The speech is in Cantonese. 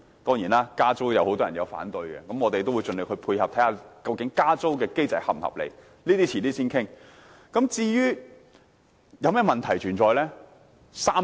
當然，加租會有很多人反對，我們會盡力配合，研究加租機制是否合理，這些問題將來再討論。